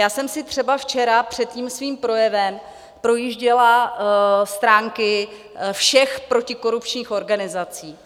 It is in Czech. Já jsem si třeba včera před tím svým projevem projížděla stránky všech protikorupčních organizací.